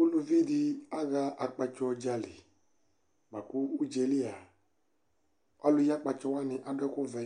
ʋlʋvi di aha akpatsɔ dzali lakʋ ʋdzaɛlia alʋ yi akpatsɔ wani adʋ ɛkʋ vɛ